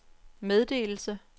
meddelelse